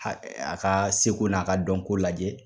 A a ka seko n'a ka dɔnko lajɛ.